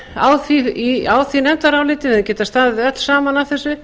á því nefndaráliti við hefðum getað staðið öll saman að þessu